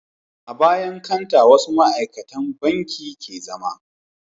A bayan kanta wasu ma'aikacin banki ke zama